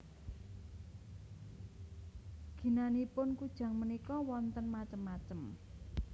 Ginanipun kujang punika wonten macem macem